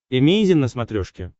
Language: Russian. эмейзин на смотрешке